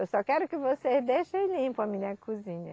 Eu só quero que vocês deixem limpo a minha cozinha.